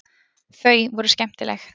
Þau voru skemmtileg.